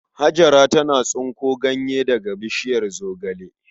Hajara tana tsinko ganye daga bishiyar zogale.